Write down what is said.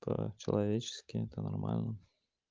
то человеческие это нормально